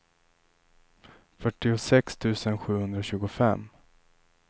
fyrtiosex tusen sjuhundratjugofem